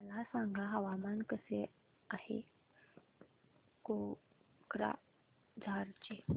मला सांगा हवामान कसे आहे कोक्राझार चे